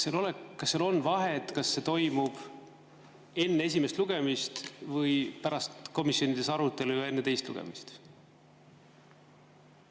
Kas on vahet, kas see toimub enne esimest lugemist või pärast arutelu komisjonides ja enne teist lugemist?